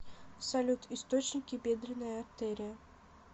салют источники бедренная артерия